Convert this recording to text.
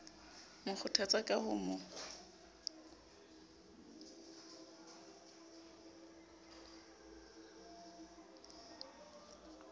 mo kgothatsa ka ho mo